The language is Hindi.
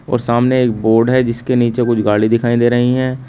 और सामने एक बोड है जिसके नीचे कुछ गाड़ी दिखाई दे रही हैं।